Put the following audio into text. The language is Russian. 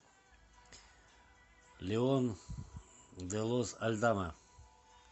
леон де лос альдама